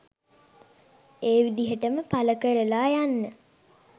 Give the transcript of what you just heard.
ඒ විදිහටම පල කරලා යන්න